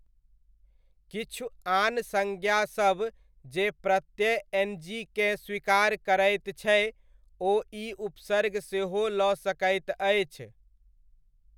किछु आन संज्ञासब जे प्रत्यय एनजीकेँ स्वीकार करैत छै ओ ई उपसर्ग सेहो लऽ सकैत अछि।